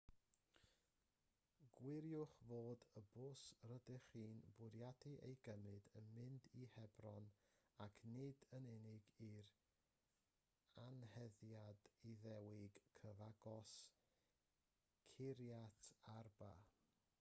gwiriwch fod y bws rydych chi'n bwriadu ei gymryd yn mynd i hebron ac nid yn unig i'r anheddiad iddewig cyfagos kiryat arba